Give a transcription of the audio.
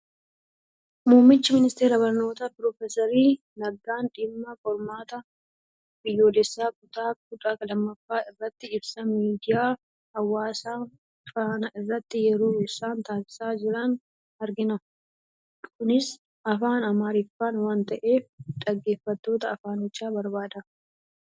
Muummichi ministeera Barnootaa Piroofeser Naggaan dhimma qormaata Biyyoolessaa kutaa kudha lammaffaa irratti ibsa miidiyaa hawaasaa Faanaa irratti yeroo isaan taasisaa jiran argina. Kunis afaan Amaariffaan waan ta'eef, dhaggeeffattoota afaanichaa barbaada.